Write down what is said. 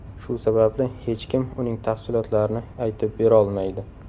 Shu sababli hech kim uning tafsilotlarini aytib berolmaydi.